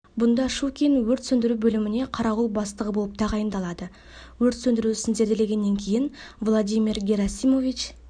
бұнда щукин өрт сөндіру бөліміне қарауыл бастығы болып тағайындалады өрт сөндіру ісін зерделегеннен кейін владимир герасимович